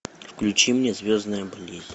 включи мне звездная болезнь